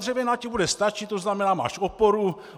Dřevěná ti bude stačit, to znamená, máš oporu.